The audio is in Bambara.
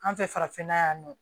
An fɛ farafinna yan nɔ